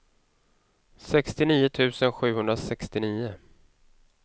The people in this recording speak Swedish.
sextionio tusen sjuhundrasextionio